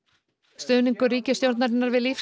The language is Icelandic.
stuðningur ríkisstjórnarinnar við